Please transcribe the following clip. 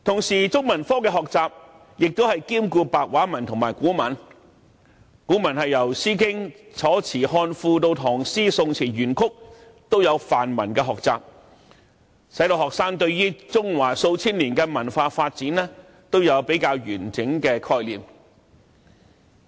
此外，中文科的學習亦兼顧白話文和古文，當中古文部分由詩經、楚辭、漢賦到唐詩、宋詞、元曲都有範文學習，使學生對中華數千年文化的發展都有較完整的概念。